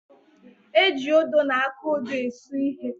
E ji odo na aka odo esu ihe.